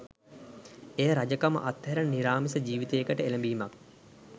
එය රජකම අත්හැර නිරාමිස ජීවිතයකට එළඹීමක්